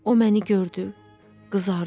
O məni gördü, qızardı.